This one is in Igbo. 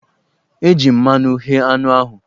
E ji mmanụ ghé anụ ahụ.